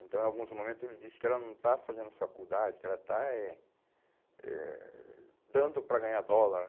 Então em alguns momentos ele diz que ela não está fazendo faculdade, que ela está é eh dando para ganhar dólar.